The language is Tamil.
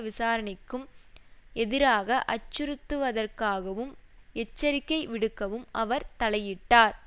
விசாரணைக்கும் எதிராக அச்சுறுத்துவதற்காகவும் எச்சரிக்கை விடுக்கவும் அவர் தலையிட்டார்